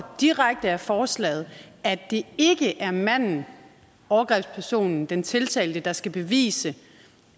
direkte af forslaget at det ikke er manden overgrebspersonen den tiltalte der skal bevise